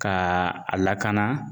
K'a a lakana.